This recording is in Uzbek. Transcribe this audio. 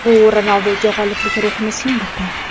Bu Ronalduga g‘oliblik ruhini singdirdi.